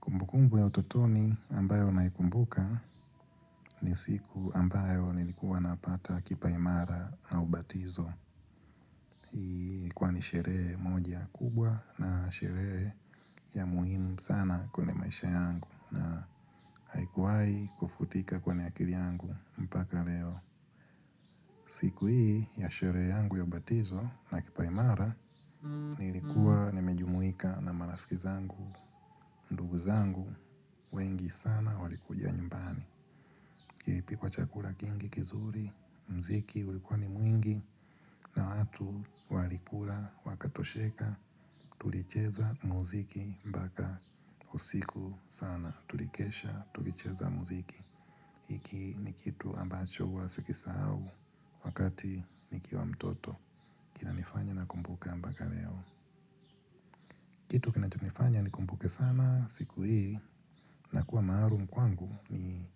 Kumbukumbu ya utotoni ambayo naikumbuka ni siku ambayo nilikuwa napata kipaimara au ubatizo. Kwani sherehe moja kubwa na sherehe ya muhimu sana kwenye maisha yangu na haikuwai kufutika kwenye akili yangu mpaka leo. Siku hii ya sherehe yangu ya ubatizo na kipaimara nilikuwa nimejumuika na marafiki zangu, ndugu zangu, wengi sana walikuja nyumbani. Kilipikwa wa chakula kingi kizuri mziki ulikuwa ni mwingi na watu walikula wakatosheka tulicheza mziki mpaka usiku sana tulikesha tulicheza mziki. Hiki ni kitu ambacho huwa sikusahau wakati nikiwa mtoto kinanifanya nakumbuka mpaka leo. Kitu kinachonifanya nikumbuke sana siku hii na kuwa maalum kwangu ni